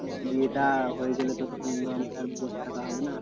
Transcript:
বিয়েটা হয়েগেলে তো তখন আমাকে আর বস থাকা হবে না।